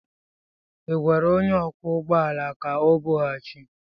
Ị gwara onye ọkwọ ụgbọ ala ka ọ bịaghachi?